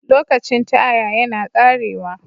Lokacin Taya yana ƙarewa.